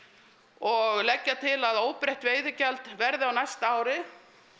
og leggja til að óbreytt veiðigjald verði á næsta ári